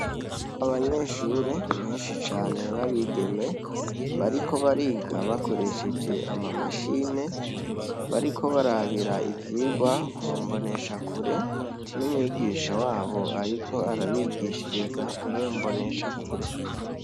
Abanyeshure benshi cane babigeme. Bariko bariga bakoresheje amamashine bariko barabira ivyigwa mu mboneshakure, n'umwigisha wabo ariko arabigishiriza mwiyo mboneshakure.